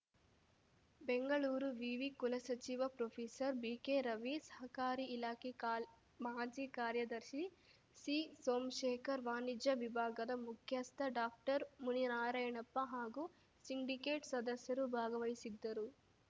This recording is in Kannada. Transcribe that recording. ಬೆಂಗಳೂರು ವಿವಿ ಕುಲಸಚಿವ ಪ್ರೊಫೆಸರ್ ಬಿಕೆ ರವಿ ಸಹಕಾರಿ ಇಲಾಖೆ ಕಾಲ್ ಮಾಜಿ ಕಾರ್ಯದರ್ಶಿ ಸಿ ಸೋಮ್ಶೇಖರ್‌ ವಾಣಿಜ್ಯ ವಿಭಾಗದ ಮುಖ್ಯಸ್ಥ ಡಾಕ್ಟರ್ ಮುನಿನಾರಾಯಣಪ್ಪ ಹಾಗೂ ಸಿಂಡಿಕೇಟ್‌ ಸದಸ್ಯರು ಭಾಗವಹಿಸಿದ್ದರು